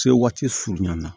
Se waati surunin na